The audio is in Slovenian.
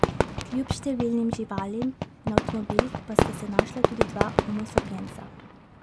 Kljub številnim živalim na avtomobilih pa sta se našla tudi dva homo sapiensa.